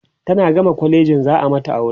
tana gama kwalejin za'a mata aure